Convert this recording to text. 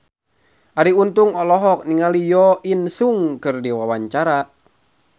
Arie Untung olohok ningali Jo In Sung keur diwawancara